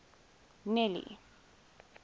nelly